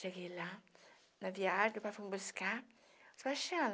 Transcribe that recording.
Cheguei lá, na viagem, o pai foi me buscar Sebastiana